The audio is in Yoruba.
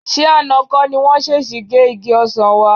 Ṣé àná kọ́ ni wọ́n ṣèṣì gé igi ọsàn wa?